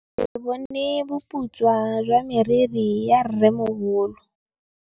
Ke bone boputswa jwa meriri ya rrêmogolo.